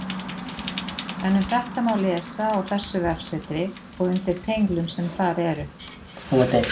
En um þetta má lesa á þessu vefsetri og undir tenglum sem þar eru.